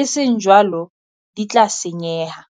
e seng jwalo di tla senyeha.